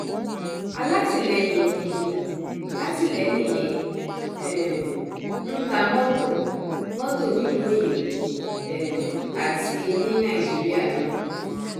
alátìlẹyìn mi ni látìléènì yẹn ń um ta mọtò mọtò nílùú òyìnbó um àti ní nàìjíríà náà